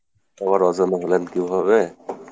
আবার অজানা হলেন কীভাবে?